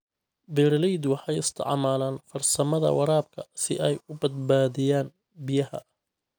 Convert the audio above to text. Beeraleydu waxay isticmaalaan farsamada waraabka si ay u badbaadiyaan biyaha.